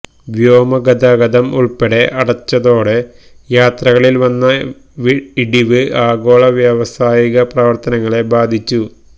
വ്യോമ ഗതാഗതം ഉൾപ്പടെ അടച്ചതോടെ യാത്രകളിൽ വന്ന ഇടിവ് ആഗോള വ്യാവസായിക പ്രവർത്തനങ്ങളെ ബാധിച്ചു